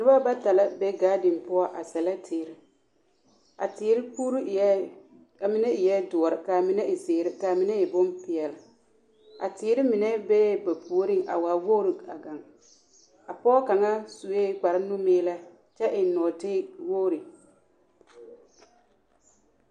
Noba bata la be ɡaaden poɔ a sɛlɛ teere a teere puuri eɛ a mine eɛ doɔre ka a mine ziiri ka a mine e bompeɛle a teere mine bee ba puoriŋ a waa woɡri ɡaŋ a pɔɡe kaŋa sue kparnumiilɛ kyɛ eŋ nɔɔtewoori.